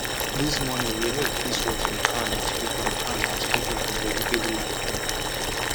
this morning we help fix watering can and sprinkler can and sprinkler for vegetable line